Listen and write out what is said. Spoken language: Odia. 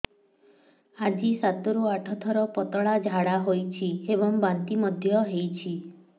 ଆଜି ସାତରୁ ଆଠ ଥର ପତଳା ଝାଡ଼ା ହୋଇଛି ଏବଂ ବାନ୍ତି ମଧ୍ୟ ହେଇଛି